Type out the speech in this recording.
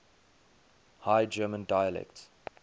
high german dialects